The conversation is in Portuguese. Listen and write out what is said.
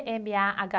eme-a-agá